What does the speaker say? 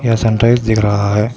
सन rice दिख रहा है।